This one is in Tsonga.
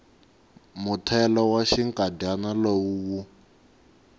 muthelo wa xinkadyana lowu wu